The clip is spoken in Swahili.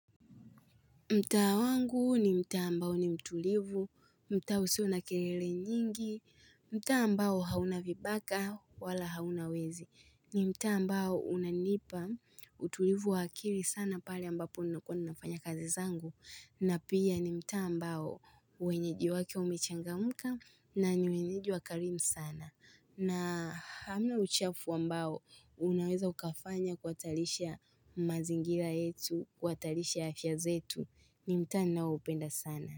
Mtaa wangu ni mtaa ambao ni mtulivu, mtaa usio na kelele nyingi, mtaa ambao hauna vibaka wala hauna wezi, ni mtaa ambao unanipa utulivu wa akili sana pale ambapo ninakuwa nafanya kazi zangu, na pia ni mtaa ambao wenyeji wake wamechangamka na ni wenyeji wakarimu sana. Na hamna uchafu wa mbao, unaweza ukafanya kuhatarisha mazingira yetu, kuhatarisha afya zetu, ni mtaa ninaoupenda sana.